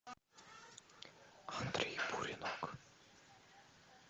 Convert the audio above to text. андрей буренок